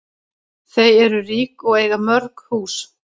Þau eru rík og eiga mörg hús.